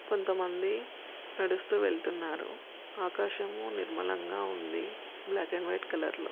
కొంత మంది నడుస్తూ వెళ్తున్నారు ఆకాశంము నిర్మలంగా ఉంది బ్లాక్ అండ్ వైట్ కలర్ లో--